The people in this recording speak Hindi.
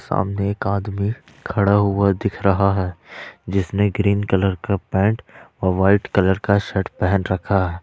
आमने एक आदमी खड़ा हुआ दिख रहा है जिसने ग्रीन कलर का पेंट और वाइट कलर का शर्ट पहन रखा है ।